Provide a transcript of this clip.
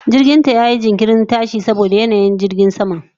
Jirginta yayi jinkirin tashiwa saboda yanayin sama.